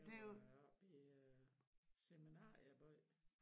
Det var oppe i seminarieby